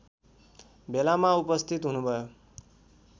भेलामा उपस्थित हुनुभयो